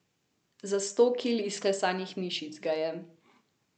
Za sto kil izklesanih mišic ga je.